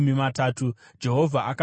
Jehovha akati kuna Mozisi,